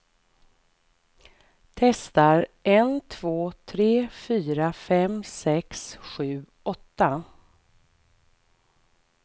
Testar en två tre fyra fem sex sju åtta.